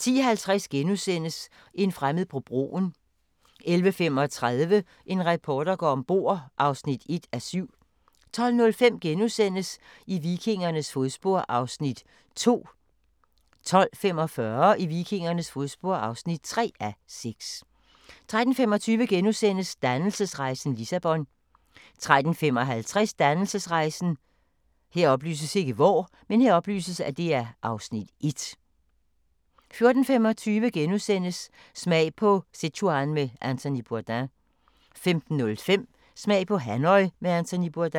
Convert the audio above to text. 10:50: En fremmed på broen * 11:35: En reporter går om bord (1:7) 12:05: I vikingernes fodspor (2:6)* 12:45: I vikingernes fodspor (3:6) 13:25: Dannelsesrejsen - Lissabon * 13:55: Dannelsesrejsen (Afs. 1) 14:25: Smag på Sichuan med Anthony Bourdain * 15:05: Smag på Hanoi med Anthony Bourdain